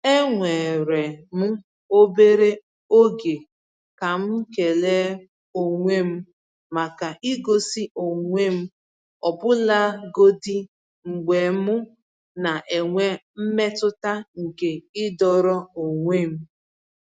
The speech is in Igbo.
Eweere m obere oge ka m kele onwe m maka igosi onwe m ọbụlagodi mgbe m na-enwe mmetụta nke ịdọrọ onwe m.